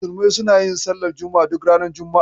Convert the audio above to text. Musulmai suna yin sallar juma'a duk ranar juma'a.